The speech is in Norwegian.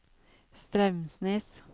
Straumsnes